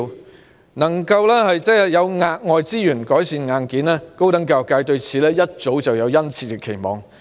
對於能夠有額外資源改善硬件，高等教育界早已有殷切期望。